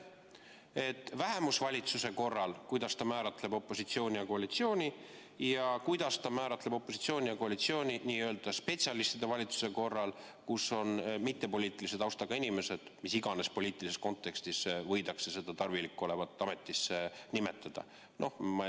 Kuidas juhatus vähemusvalitsuse korral määratleb opositsiooni ja koalitsiooni ning kuidas ta määratleb opositsiooni ja koalitsiooni n‑ö spetsialistide valitsuse korral, kus on mittepoliitilise taustaga inimesed, mis iganes poliitilises kontekstis võidakse leida tarvilik olevat neid ametisse nimetada?